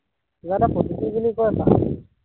কিবা এটা পদ্ধতি বুলি কয় হবপায়